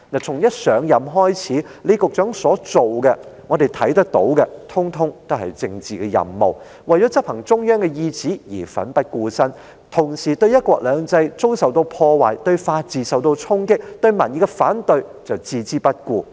從一上任開始，我們看到李局長所做的，通統是政治任務，為了執行中央意旨而奮不顧身，同時對"一國兩制"遭受破壞、法治受到衝擊，以及民意的反對卻置之不顧。